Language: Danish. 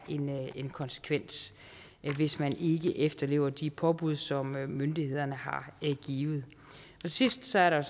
en konsekvens hvis man ikke efterlever de påbud som myndighederne har givet til sidst er der